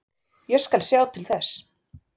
Ég skal sjá til þess.